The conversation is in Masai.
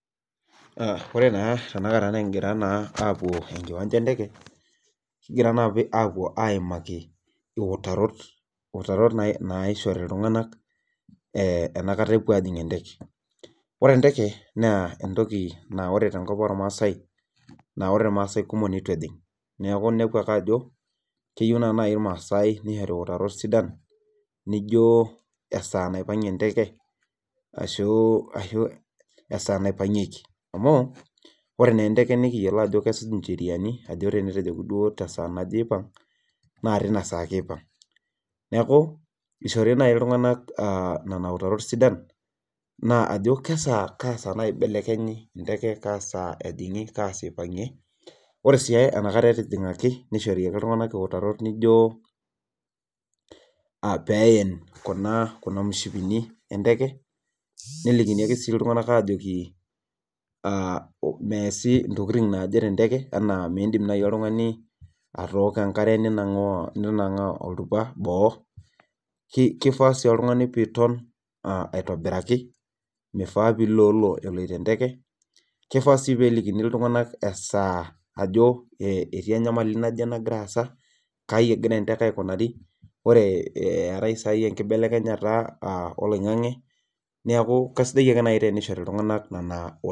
Ore naa tenakata nikigira naa aapuo enkiwancha enteke kigira aapuo aaimaki iutarot. naishori iltunganak enkata epuo aajing enteke. ore enteke naa entoki naa ore tenkop oormaasae. naa ore irmaasae kumok neitu ejing. neku inepu ake ajo keyieu irmaasae nishori iiitarot sidan. nijo esaa naipangie enteke. ashu, esaa naipangieki. amu ore naa eenteke, nikiyiolo ajo kesuj nvheriani .tenetejoki duo esaa naje eipang, naa tina saa ake eipang. neeku ishori naji iltunganak Nena, utarot sidan. ajo kesaa. kasaa, ibelekenye kaa ejingi .ore sii enkata ejingaki nishori ake iltunganak iutrot nijo, peen Kuna mishipini enteke nelikini iltunganak aajoki aa meesi. ntokitin naake tenteke. midim naaji oltungani, atooko enkare ninangaa oltupa boo. kifaa sii oltungani pee iton aitobiraki .mifaa pee iloolo eloito enteke. kifaa sii peelikini oltungani esaa ajo etii enyamali naje nagira aasa. kaji egira enteke aikunari. ore eetae isaai enkibelekenyata oloingang'e neeku kesidai teneishori iltunganak nena iitarot.